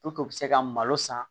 u bɛ se ka malo san